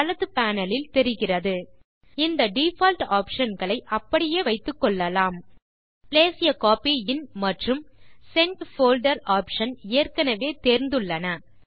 வலது பேனல் லில் தெரிகிறது இந்த டிஃபால்ட் ஆப்ஷன் களை அப்படியே வைத்துக்கொள்ளலாம் பிளேஸ் ஆ கோப்பி இன் மற்றும் சென்ட் போல்டர் ஆப்ஷன் ஏற்கனெவே தேர்ந்துள்ளன